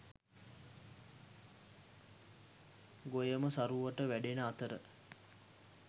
ගොයම සරුවට වැඩෙන අතර